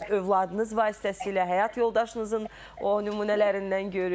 Öz övladınız vasitəsilə, həyat yoldaşınızın o nümunələrindən görürük.